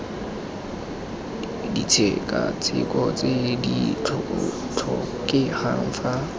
ditshekatsheko tse di tlhokegang fa